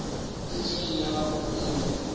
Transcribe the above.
fihleng ga gagwe o ile